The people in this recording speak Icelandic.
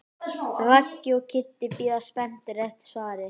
Raggi og Kiddi bíða spenntir eftir svari.